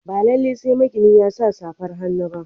Ba lalai sai magini ya sa safar hannu ba.